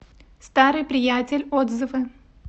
старый приятель отзывы